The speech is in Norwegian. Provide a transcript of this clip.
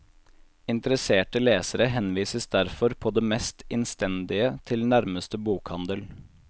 Interesserte lesere henvises derfor på det mest innstendige til nærmeste bokhandel.